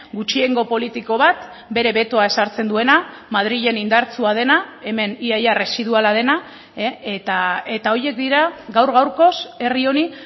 gutxiengo politiko bat bere betoa ezartzen duena madrilen indartsua dena hemen ia ia residuala dena eta horiek dira gaur gaurkoz herri honi